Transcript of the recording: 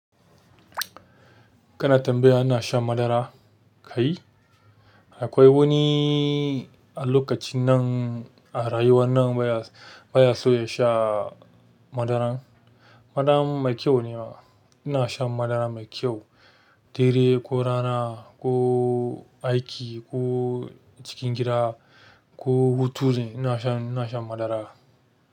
Kana tambaya ana shan madara kai? Akwai wani a lokacin nan, a rayuwar nan baya, baya so ya sha madaran. Madara mai kyau ne. Ina shan madara mai kyau, dare ko rana, ko aiki, ko cikin gida, ko hutu zan ina shan, ina shan madara.